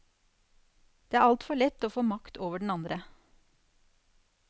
Det er altfor lett å få makt over den andre.